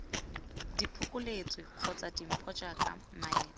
diphokoletso kgotsa dimpho jaaka maeto